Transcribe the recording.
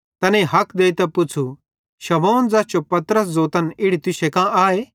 तैनेईं हक देइतां पुच़्छ़ू शमौन ज़ैस जो पतरस ज़ोतन इड़ी तुसांन कां आए